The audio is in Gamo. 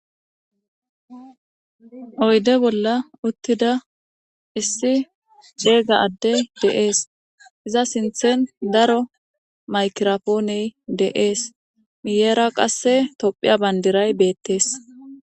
Oyde bolla utida issi cega addey de'es ,iza sinthen daro miykitra poney de'es, miyera qase tophiya bandiray betes.